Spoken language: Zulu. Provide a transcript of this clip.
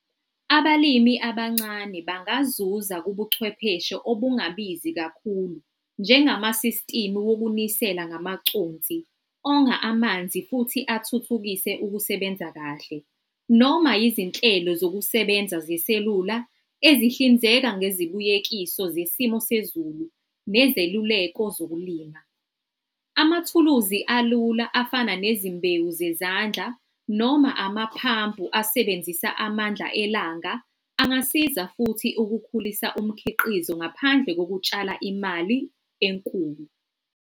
Abalimi abancane bangazuza kubuchwepheshe obungabizi kakhulu, njengama-system wokunisela ngamaconsi, onga amanzi futhi athuthukise ukusebenza kahle, noma izinhlelo zokusebenza zeselula ezihlinzeka ngezibuyekiso zesimo sezulu nezeluleko zokulima. Amathuluzi alula afana nezimbewu zezandla noma amaphampu asebenzisa amandla elanga, angasiza futhi ukukhulisa umkhiqizo ngaphandle ngokutshala imali enkulu.